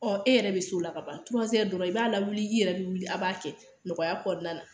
Ɔ e yɛrɛ bɛ s'o la ka ban dɔrɔn i b'a lawuli i yɛrɛ bɛ wuli a' b'a kɛ nɔgɔya kɔnɔna na